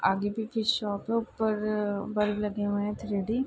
आगे पीछे शॉप है ऊपर अ बल्ब लगे हुए है थ्री डी ।